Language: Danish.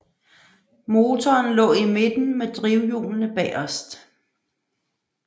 Motoren lå i midten med drivhjulene bagerst